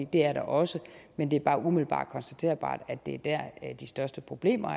det er der også men det er bare umiddelbart konstaterbart at det er der de største problemer